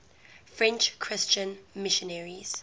french christian missionaries